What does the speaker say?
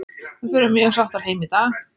Við förum mjög sáttar heim í dag.